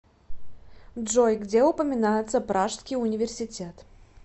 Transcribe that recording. джой где упоминается пражский университет